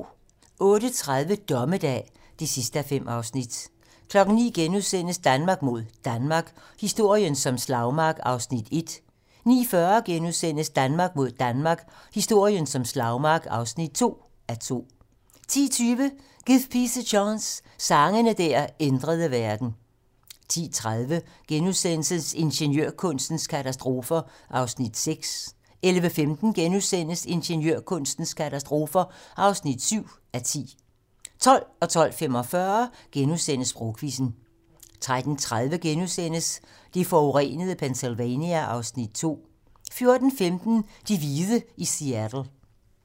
08:30: Dommedag (5:5) 09:00: Danmark mod Danmark - historien som slagmark (1:2)* 09:40: Danmark mod Danmark - historien som slagmark (2:2)* 10:20: Give Peace a Chance - Sange der ændrede verden 10:30: Ingeniørkunstens katastrofer (6:10)* 11:15: Ingeniørkunstens katastrofer (7:10)* 12:00: Sprogquizzen * 12:45: Sprogquizzen * 13:30: Det forurenede Pennsylvania (Afs. 2)* 14:15: De hvide i Seattle